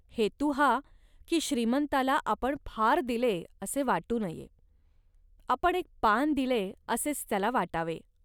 हेतू हा, की श्रीमंताला आपण फार दिले, असे वाटू नये. आपण एक पान दिले, असेच त्याला वाटावे